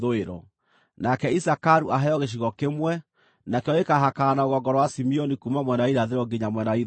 “Nake Isakaru aheo gĩcigo kĩmwe; nakĩo gĩkaahakana na rũgongo rwa Simeoni kuuma mwena wa irathĩro nginya mwena wa ithũĩro.